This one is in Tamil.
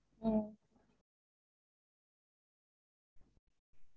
ஹம்